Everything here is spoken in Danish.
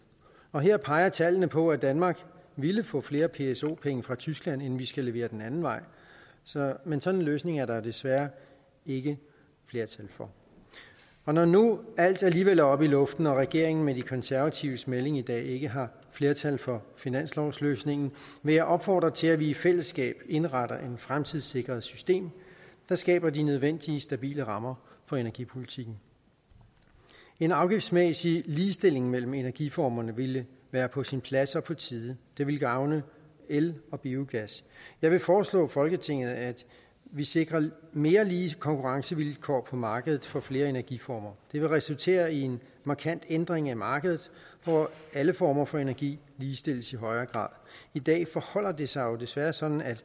og her peger tallene på at danmark ville få flere pso penge fra tyskland end vi skal levere den anden vej men sådan en løsning er der desværre ikke flertal for når nu alt alligevel er oppe i luften og regeringen med de konservatives melding i dag ikke har flertal for finanslovsløsningen vil jeg opfordre til at vi i fællesskab indretter et fremtidssikret system der skaber de nødvendige stabile rammer for energipolitikken en afgiftsmæssig ligestilling mellem energiformerne ville være på sin plads og på tide det ville gavne el og biogas jeg vil foreslå folketinget at vi sikrer mere lige konkurrencevilkår på markedet for flere energiformer det vil resultere i en markant ændring af markedet hvor alle former for energi ligestilles i højere grad i dag forholder det sig desværre sådan at